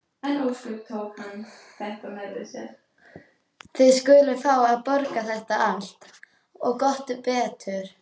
Þið skuluð fá að borga þetta allt. og gott betur!